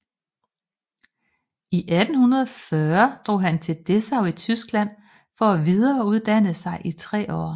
I 1840 drog han til Dessau i Tyskland for at videreuddanne sig i 3 år